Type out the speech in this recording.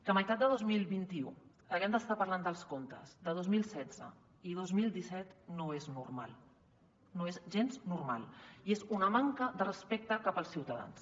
que a meitat de dos mil vint u haguem d’estar parlant dels comptes de dos mil setze i dos mil disset no és normal no és gens normal i és una manca de respecte cap als ciutadans